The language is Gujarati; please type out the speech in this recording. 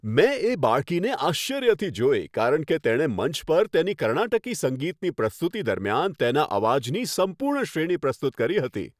મેં એ બાળકીને આશ્ચર્યથી જોઈ કારણ કે તેણે મંચ પર તેની કર્ણાટકી સંગીતની પ્રસ્તુતિ દરમિયાન, તેના અવાજની સંપૂર્ણ શ્રેણી પ્રસ્તુત કરી હતી.